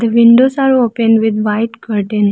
The windows are open with white curtain.